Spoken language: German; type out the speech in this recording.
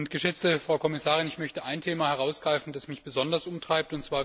Geschätzte Frau Kommissarin, ich möchte ein Thema herausgreifen, das mich besonders umtreibt.